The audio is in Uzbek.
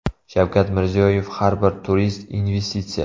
Shavkat Mirziyoyev: Har bir turist investitsiya .